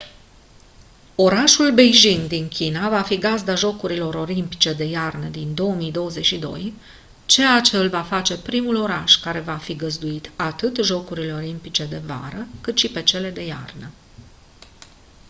orașul beijing din china va fi gazda jocurilor olimpice de iarnă din 2022 ceea ce îl va face primul oraș care va fi găzduit atât jocurile olimpice de vară cât și pe cele de iarnă